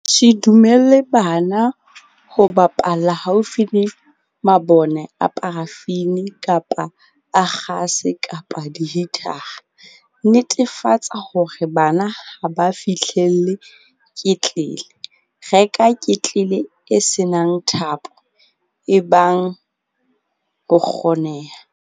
Se dumelle bana ho bapalla haufi le mabone a parafini kapa a kgase kapa dihitara. Netefatsa hore bana ha ba fihlelle ketlele. Reka ketlele e se nang thapo ebang ho kgoneha.